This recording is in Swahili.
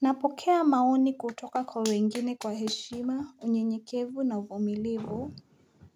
Napokea maoni kutoka kwa wengine kwa heshima unyenyekevu na uvumilivu